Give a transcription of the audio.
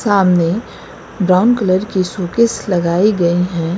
सामने brown colour की showcase लगाई गई हैं।